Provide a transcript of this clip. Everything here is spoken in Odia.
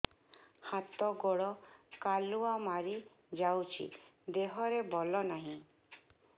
ହାତ ଗୋଡ଼ କାଲୁଆ ମାରି ଯାଉଛି ଦେହରେ ବଳ ନାହିଁ